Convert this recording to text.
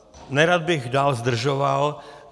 Nerad bych dále zdržoval.